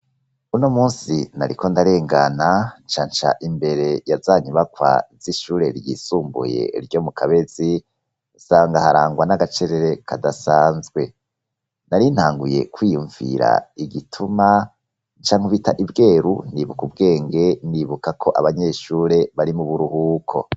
Uno munsi nariko ndarengana nca nca imbere yaza nyubakwa z'ishure ryisumbuye ryo mu Kabezi, nsanga harangwa n'agacerere kadasanzwe. Nari ntanguye kwiyumvira igituma, nca nkubita ibweru nibuka ubwenge, nibuka ko abanyeshure bari mu buruhuko.